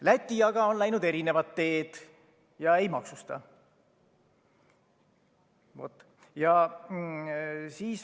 Läti aga on läinud erinevat teed ega maksusta.